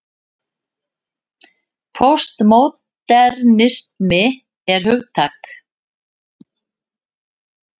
Póstmódernismi er hugtak.